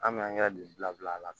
An bɛ angɛrɛ don bila a la